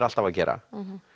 alltaf að gera